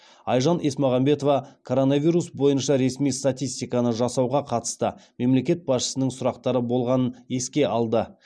айжан есмағамбетова коронавирус бойынша ресми статистиканы жасауға қатысты мемлекет басшысының сұрақтары болғанын еске алды